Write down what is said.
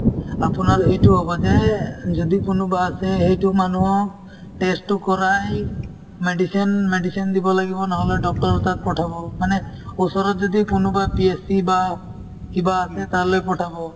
আপোনাৰ এইটো হব যে এহ্ যদি কোনোবা আছে সেইটো মানুহক test তো কৰাই medicine medicine দিব লাগিব নহলে doctor ৰৰ তাত পঠাব মানে ওচৰত যদি কোনোবা PSC বা কিবা আছে তালৈ পঠাব